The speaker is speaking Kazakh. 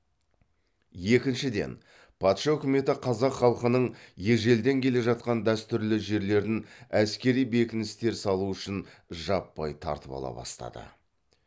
екіншіден патша үкіметі қазақ халқының ежелден келе жатқан дәстүрлі жерлерін әскери бекіністер салу үшін жаппай тартып ала бастады